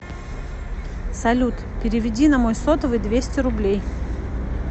салют переведи на мой сотовый двести рублей